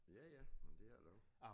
Ja ja men det er det også